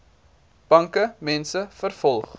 banke mense vervolg